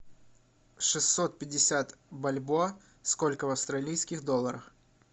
шестьсот пятьдесят бальбоа сколько в австралийских долларах